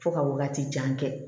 Fo ka wagati jan kɛ